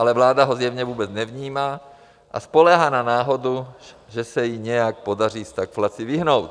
Ale vláda ho zjevně vůbec nevnímá a spoléhá na náhodu, že se jí nějak podaří stagflaci vyhnout.